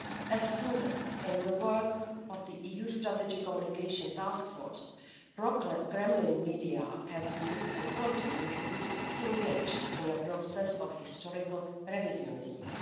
As proven in the work of the EU Strategic Communication Task Force, Kremlin media have been, and continue to be, engaged in a process of historical revisionism.